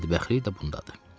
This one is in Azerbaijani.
Bədbəxtlik də bundadır.